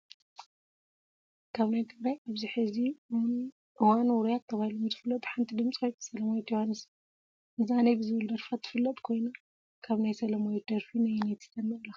ካብ ናይ ትግራይ ኣብዚ ሕዚ እዋን ውሩያት ተባሂሎም ዝፍለጡ ሓንቲ ድምፃዊት ሰላማዊት ዮሃንስ እያ፡፡ ሚዛነይ ብዝብል ደርፋ ትፍለጥ ኮይና ካብ ናይ ሰላማዊት ደርፊ ነየነይቲ ተድንቑላ?